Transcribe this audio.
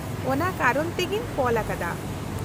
ᱚᱱᱟ ᱠᱟᱨᱚᱱ ᱛᱮᱜᱤᱧ ᱠᱚᱞ ᱟᱠᱟᱫᱟ ᱾